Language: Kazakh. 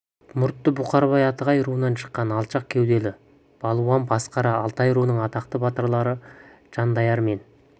мұртты бұқарбай атығай руынан шыққан алшақ кеуделі балуан басықара алтай руының атақты батырлары жанайдар мен